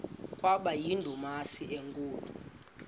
kwaba yindumasi enkulu